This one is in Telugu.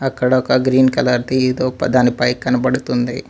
అక్కడ ఒక గ్రీన్ కలర్ ది ఏదో ఒక దాని పై కనబడుతుంది.